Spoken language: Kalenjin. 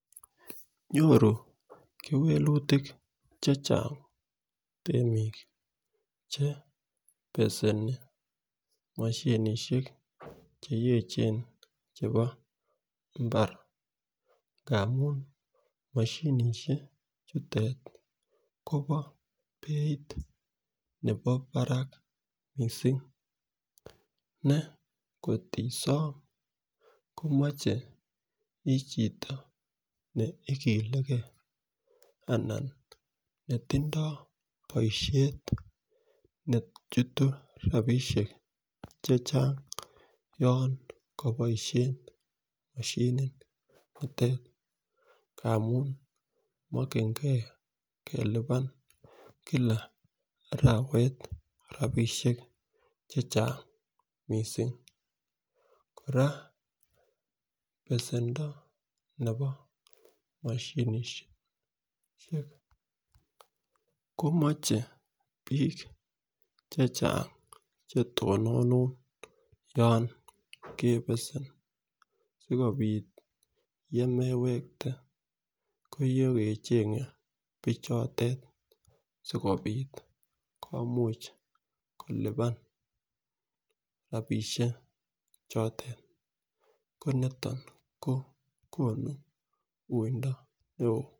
Nyoru kewelutik chechang temik chebeseni moshinishek cheyechen chebo imbar ngamun moshinishek chutet Kobo beit nebo barak missing ne kotisom komoche ichito neikilegee anan nechutu rabishek chechang yon kiboishen moshinit nitet ngamun mokingee kelipan kile arawet rabishek chechang missing. Koraa besendo nebo moshinishek komoche bik chechang chetononu yon kebesem sikopit yemewekte konyokecheng bichotet sikopit komuche kilipan rabishek chotet ko niton ko konu wuindo neo.